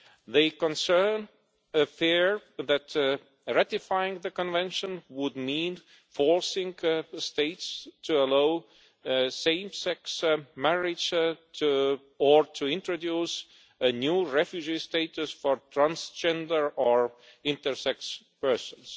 They concern the fear that ratifying the Convention would mean forcing states to allow same sex marriage or to introduce a new refugee status for transgender or intersex persons.